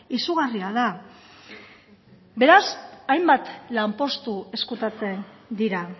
izugarria da beraz hainbat lanpostu ezkutatzen dira